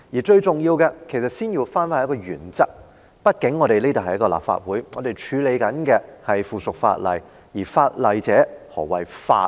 最重要的是，首先要回到一個原則上，畢竟這裏是立法會，我們正在處理的是附屬法例，而法例者，何謂法呢？